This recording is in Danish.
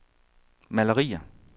malerier